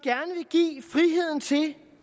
give friheden til